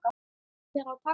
Hver á að taka það?